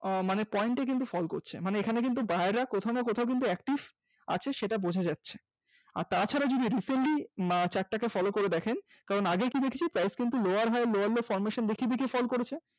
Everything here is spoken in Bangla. মানে Point টা কিন্তু fall করছে মানে এখানে কিন্তু Buyer কোথাও না কোথাও active আছে সেটা বোঝা যাচ্ছে। তাছাড়া যদি recentlychart টাকে follow করে দেখেন আগে কি দেখছি price কিন্তু lower high lower low formation দেখিয়ে দেখিয়ে fall করেছে।